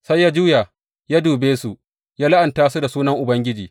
Sai ya juya ya dube su, ya la’anta su da sunan Ubangiji.